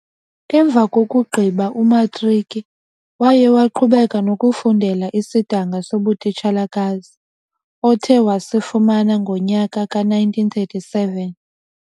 Emva kokugqiba umatriki, waye waqhubeka nokufundela isidanga sobutitshalakazi othe wasifumana ngonyaka we 1937.